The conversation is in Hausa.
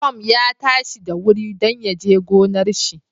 Tom ya tashi da wuri dan yaje gonar shi